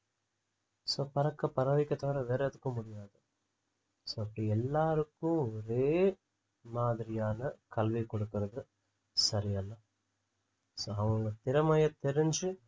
so பறக்க பறவைகள் தவிர வேற எதுக்கும் முடியாது so இப்படி எல்லாருக்கும் ஒரே மாதிரியான கல்வி கொடுக்கிறது சரியல்ல so அவங்க திறமைய தெரிஞ்சு